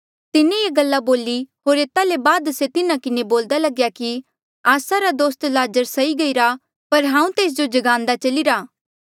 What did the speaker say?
तिन्हें ये गल्ला बोली होर एता ले बाद से तिन्हा किन्हें बोल्दा लग्या कि आस्सा रा दोस्त लाज़र सई गईरा पर हांऊँ तेस जो जगांदे चलीरा